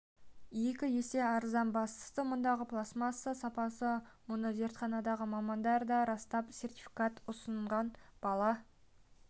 екі есе арзан бастысы мұндағы пластмасса сапалы мұны зертханадағы мамандар да растап сертификат ұсынған бала